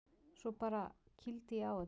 Svo bara. kýldi ég á það.